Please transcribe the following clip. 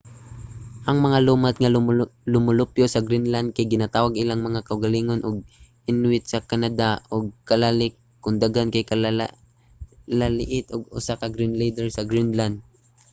ang mga lumad nga lumulupyo sa greenland kay ginatawag ilang mga kaugalingon og inuit sa canada ug kalaalleq kon daghan kay kalaallit usa ka greenlander sa greenland